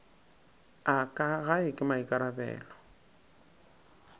a ka gae ke maikarabelo